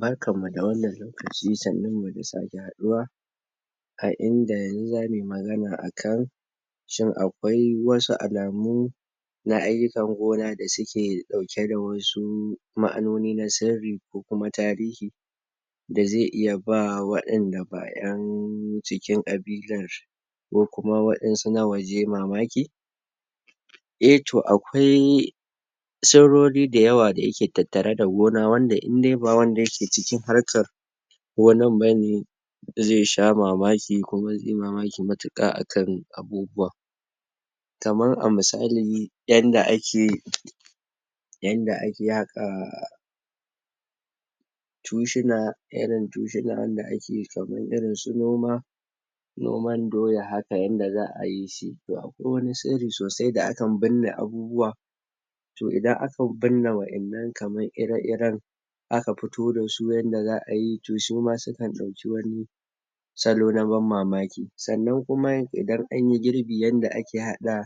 barkan mu da wanna? da sake haduwa a inda ni za muyi magana akan shin akwai wasu alamu na ayukan gona da ske dauke da wasu ma`anoni nauma sirri ko tarihi da zai iya ba wanda da ba `yan cikin? ko kuma wandan su na waje mamaki eh to akwai sirori da yawwa da yake tattare da gona wanda indai ba wanda yake cikin harka ko nan bane zai sha mamaki kuma zai yi mamaki mutuƘa akan abubuwa kamar a misali yanda ake yanda ake haka aah cushuna irin cushuna wanda irin su noma noman doya aka yanda za a yishi, to akwai wani siri sosai da akan bine abuuwa to idan aka bine wandan nan kaman ire-iren aka fito da su kaman yada za a yi to suma sukan dauki wani salo na ban mamaki, san na kuma idan anyi girbi yanda ake hada